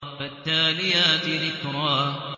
فَالتَّالِيَاتِ ذِكْرًا